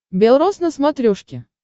белрос на смотрешке